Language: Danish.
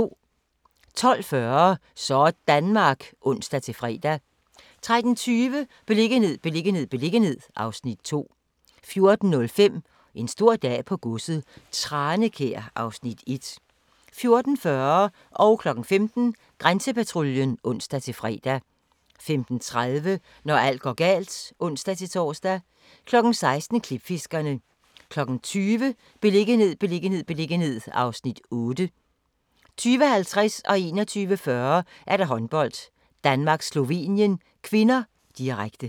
12:40: Sådanmark (ons-fre) 13:20: Beliggenhed, beliggenhed, beliggenhed (Afs. 2) 14:05: En stor dag på godset - Tranekær (Afs. 1) 14:40: Grænsepatruljen (ons-tor) 15:00: Grænsepatruljen (ons-fre) 15:30: Når alt går galt (ons-tor) 16:00: Klipfiskerne 20:00: Beliggenhed, beliggenhed, beliggenhed (Afs. 8) 20:50: Håndbold: Danmark-Slovenien (k), direkte 21:40: Håndbold: Danmark-Slovenien (k), direkte